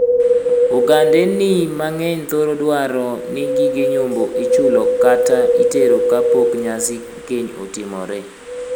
Ogandeni mang'eny thoro dwaro ni gige nyombo ichulo kata itero ka pok nyasi keny otimore.